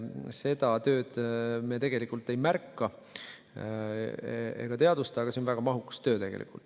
Seda tööd me tegelikult ei märka ega teadvusta, aga see on väga mahukas töö.